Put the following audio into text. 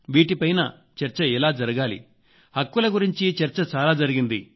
వీటిపైన చర్చ ఎలా జరగాలి హక్కుల గురించి చర్చ చాలా జరిగింది